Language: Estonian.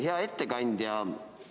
Hea ettekandja!